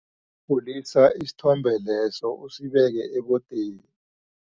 Khulisa isithombe leso usibeke ebodeni.